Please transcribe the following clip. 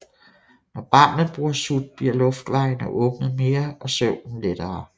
Når barnet bruger sut bliver luftvejene åbnet mere og søvnen lettere